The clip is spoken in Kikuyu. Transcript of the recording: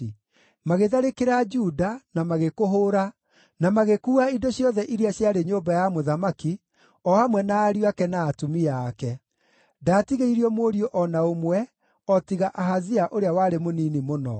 Magĩtharĩkĩra Juda, na magĩkũhũũra, na magĩkuua indo ciothe iria ciarĩ nyũmba ya mũthamaki, o hamwe na ariũ ake na atumia ake. Ndaatigĩirio mũriũ o na ũmwe o tiga Ahazia ũrĩa warĩ mũnini mũno.